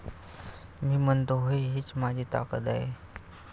मी म्हणतो होय हीच माझी ताकद आहे.